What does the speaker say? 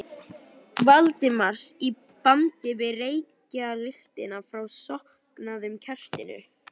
Valdimars í bland við reykjarlyktina frá slokknaða kertinu.